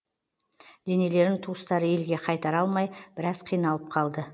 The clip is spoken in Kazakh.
денелерін туыстары елге қайтара алмай біраз қиналып қалды